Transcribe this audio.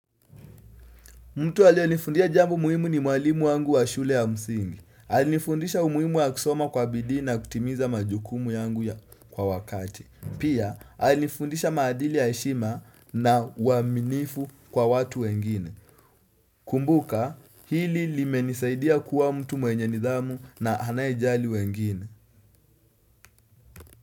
Mtu alio nifundia jambo muhimu ni mwalimu wangu wa shule ya msingi. Alinifundisha umuhimu wa kusoma kwa bidii na kutimiza majukumu yangu ya kwa wakati. Pia, alinifundisha maadili ya heshima na uaminifu kwa watu wengine. Kumbuka, hili limenisaidia kuwa mtu mwenye nidhamu na anayejali wengine.